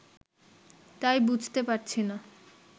তাই বুঝতে পারছি না